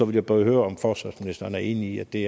ville bare høre om forsvarsministeren er enig i at det